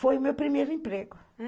Foi o meu primeiro emprego.